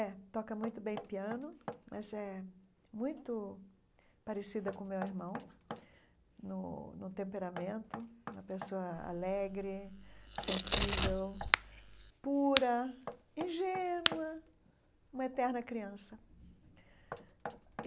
É, toca muito bem piano, mas é muito parecida com o meu irmão no no temperamento, uma pessoa alegre, sensível, pura, ingênua, uma eterna criança.